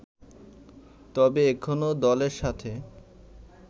তবে এখনও দলের সাথে